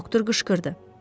Doktor qışqırdı.